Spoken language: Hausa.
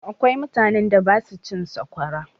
Akwai mutanen da ba su cin sakwara.